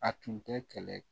A tun tɛ kɛlɛ